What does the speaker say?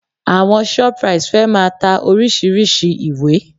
Àwọn Shoprite fẹ́ máa ta oríṣìíríṣìí ìwé